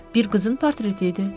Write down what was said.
Bir qızın portreti idi.